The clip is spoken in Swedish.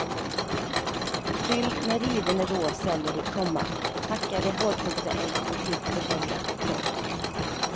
Fyll med riven rå selleri, komma hackade hårdkokta ägg och klippt persilja. punkt